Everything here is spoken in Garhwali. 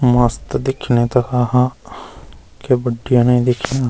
मस्त दिख्येणि तखा हा क्य बुड्या ने दिख्यां।